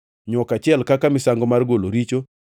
nywok achiel kaka misango mar golo richo;